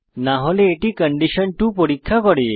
না হলে এটি আবার কন্ডিশন 2 পরীক্ষা করে